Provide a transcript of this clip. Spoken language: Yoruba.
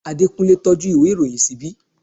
Adekunle tọ́jú ìwé ìròyìn ṣíbí